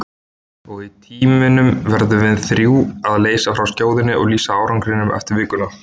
Og í tímunum verðum við þrjú að leysa frá skjóðunni og lýsa árangrinum eftir vikuna.